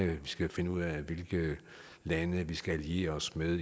vi skal finde ud af hvilke lande vi skal alliere os med